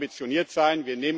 Wir wollen ambitioniert sein.